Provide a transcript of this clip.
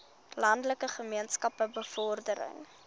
landelike gemeenskappe bevordering